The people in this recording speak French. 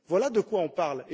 Voilà de quoi on parle.